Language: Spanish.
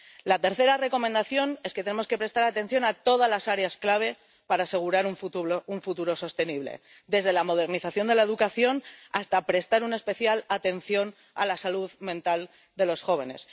La tercera recomendación es que tenemos que prestar atención a todas las áreas clave para asegurar un futuro sostenible, desde la modernización de la educación hasta prestar una especial atención a la salud mental de los jóvenes.